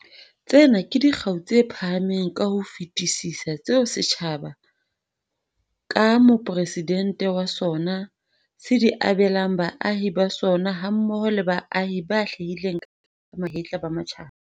Tsena ke dikgau tse phahameng ka ho fetisisa tseo setjhaba, ka Mopresidente wa sona, se di abelang baahi ba sona hammoho le baahi ba hlahileng ka mahetla ba matjhaba.